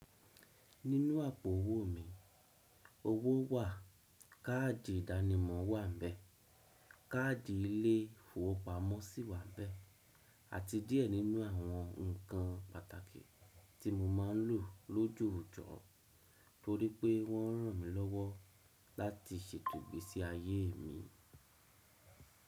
Nínú àpò owó mi, owó wà, káàdì ìdánimọ̀ wà ńbẹ̀, káàdì ilé ìfowópamọ́ sì wà ńbẹ̀, àti díẹ̀ nínú àwọn nǹkan pàtàkì tí mo máa ń lò lójòòjọ́ torípé wọ́n ń ràn mí lọ́wọ́ láti ṣètò ìgbésí ayé mi.